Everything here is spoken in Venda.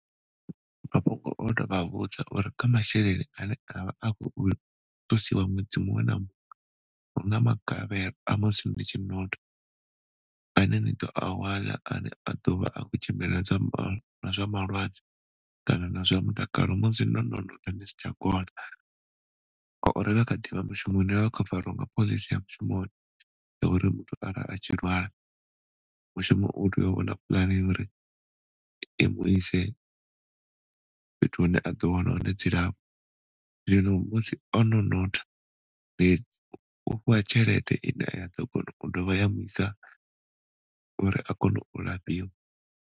Mafhungo oto vha vhudza uri kha masheleni ane a vha a khou ṱusiwa ṅwedzi muṅwe na muṅwe huna magavhelo a musi ndi tshi ane ni ḓo awana ane a ḓovha a khou tshimbilelana na zwa malwadze kana zwa mutakalo musi ni si tsha kona. ane a kha ḓivha mushumoni khavariwa nga pholisi ya mushumoni ya uri ara muthu a tshi lwala, mushumo utea u wana pulane uri i muise fhethu hune a ḓo wana hone dzilafho zwino musi ono u fhiwa tshelede ine ya ḓo kona ya do vha ya muisa uri a kone u lafhiwa.